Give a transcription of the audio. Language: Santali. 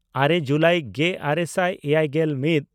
ᱟᱨᱮ ᱡᱩᱞᱟᱭ ᱜᱮᱼᱟᱨᱮ ᱥᱟᱭ ᱮᱭᱟᱭᱜᱮᱞ ᱢᱤᱫ